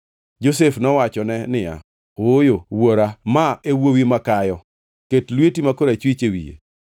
Josef nowachone niya, “Ooyo, wuora ma e wuowi ma kayo: ket lweti ma korachwich e wiye.”